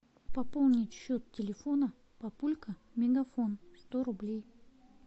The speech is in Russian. пополнить счет телефона папулька мегафон сто рублей